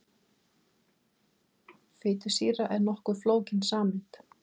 Fitusýra er nokkuð flókin sameind.